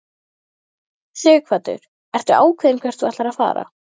Sighvatur: Ertu ákveðinn hvert þú ætlar að fara?